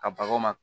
Ka baga